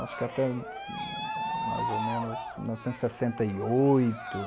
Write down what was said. nós ficamos, acho que até mais ou menos mil novecentos e sessenta e oito